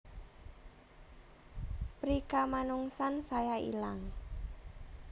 Prikamanungsan saya ilang